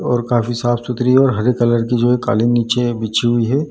और काफी साफ़ सुथरी है और हरे कलर की जो है काली नीचे बिछी हुई है।